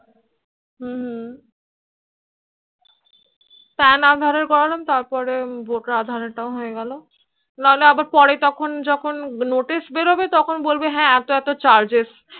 হম হম pan aadhaar এর করলাম তারপর voter aadhaar তাও হয়ে গেল নাহলে আবার পরে তখন যখন notice বেরবে তখন বলবে হেঁ এতো এতো Charges